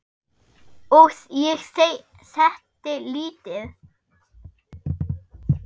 Og ég setti lítið